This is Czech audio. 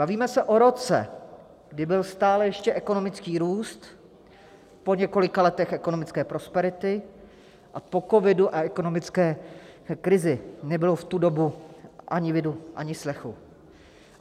Bavíme se o roce, kdy byl stále ještě ekonomický růst po několika letech ekonomické prosperity a po covidu a ekonomické krizi nebylo v tu dobu ani vidu, ani slechu.